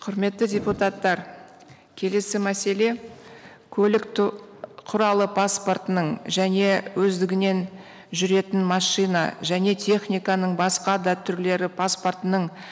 құрметті депутаттар келесі мәселе көлік құралы паспортының және өздігінен жүретін машина және техниканың басқа да түрлері паспортының